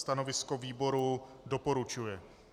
Stanovisko výboru - doporučuje.